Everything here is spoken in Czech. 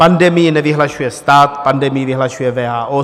Pandemii nevyhlašuje stát, pandemii vyhlašuje WHO.